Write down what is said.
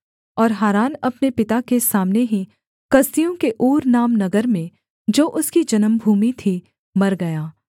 और हारान अपने पिता के सामने ही कसदियों के ऊर नाम नगर में जो उसकी जन्मभूमि थी मर गया